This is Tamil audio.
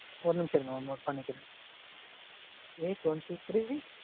ஒரு நிமிஷம் இருங்க mam. Note பன்னிக்கிறேன். A twenty three?